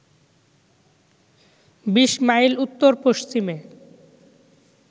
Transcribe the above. ২০ mile উত্তর-পশ্চিমে